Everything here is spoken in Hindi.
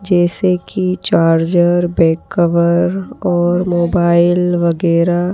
जैसे कि चार्जर बैक कवर और मोबाइल वगैरह--